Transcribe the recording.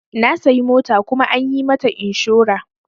Na sayi mota kuma an yi mata inshora.